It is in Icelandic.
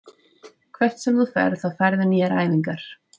Hvert sem þú ferð þá færðu nýjar æfingar.